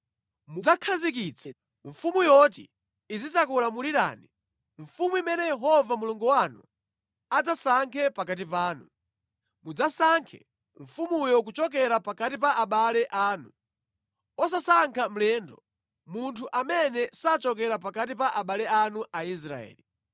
mudzakhazikitse mfumu yoti izikakulamulirani, mfumu imene Yehova Mulungu wanu adzasankhe pakati panu. Mudzasankhe mfumuyo kuchokera pakati pa abale anu. Osasankha mlendo, munthu amene sachokera pakati pa abale anu Aisraeli.